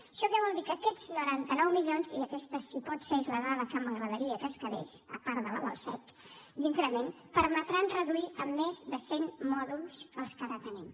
això què vol dir que aquests noranta nou milions i aquesta si pot ser és la dada que m’agradaria que es quedés a part de la del set d’increment permetran reduir en més de cent mòduls els que ara tenim